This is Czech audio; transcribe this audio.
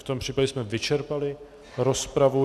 V tom případě jsme vyčerpali rozpravu.